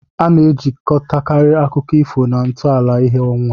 A na-ejikọtakarị akụkọ ifo na ntọala ìhè ọnwa.